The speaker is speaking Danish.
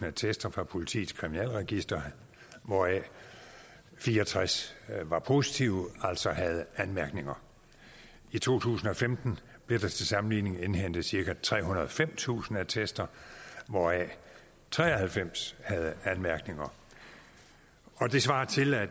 attester fra politiets kriminalregister hvoraf fire og tres var positive altså havde anmærkninger i to tusind og femten blev der til sammenligning indhentet cirka trehundrede og femtusind attester hvoraf tre og halvfems havde anmærkninger det svarer til at